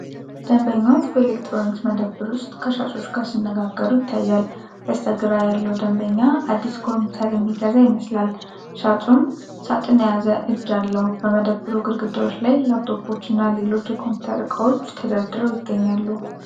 ደንበኞች በኤሌክትሮኒክስ መደብር ውስጥ ከሻጮች ጋር ሲነጋገሩ ይታያል። በስተግራ ያለው ደንበኛ አዲስ ኮምፒውተር የሚገዛ ይመስላል፤ ሻጩም ሳጥን የያዘ እጅ አለው። በመደብሩ ግድግዳዎች ላይ ላፕቶፖች እና ሌሎች የኮምፒውተር እቃዎች ተደርድረው ይገኛሉ።